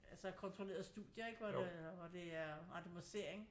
Altså kontrollerede studier ikke hvor det øh hvor det er randomisering